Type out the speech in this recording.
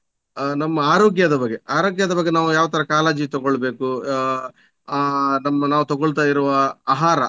ಆ ನಮ್ಮ ಅರೋಗ್ಯದ ಬಗ್ಗೆ ಅರೋಗ್ಯದ ಬಗ್ಗೆ ನಾವು ಯಾವ ತರ ನಾವು ಕಾಳಜಿ ತೊಗೊಳ್ಬೇಕು ಆ ನಮ್ಮ ನಾವು ತೊಗೊಳ್ತಾ ಇರುವ ಆಹಾರ